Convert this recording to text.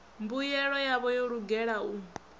mbuyelo yavho yo lugela u